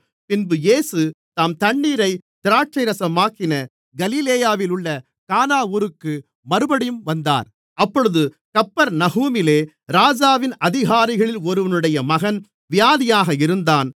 பின்பு இயேசு தாம் தண்ணீரைத் திராட்சைரசமாக்கின கலிலேயாவிலுள்ள கானா ஊருக்கு மறுபடியும் வந்தார் அப்பொழுது கப்பர்நகூமிலே ராஜாவின் அதிகாரிகளில் ஒருவனுடைய மகன் வியாதியாக இருந்தான்